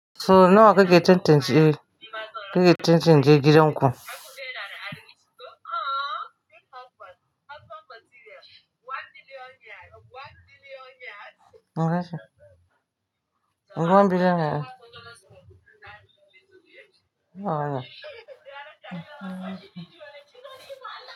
So nawa kake cancance, kake cancance gidan ku? One billion naira. Nawa ne?